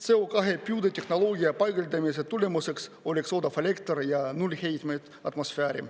CO2 püüde tehnoloogia paigaldamise tulemuseks oleks odav elekter ja null heitmeid atmosfääri.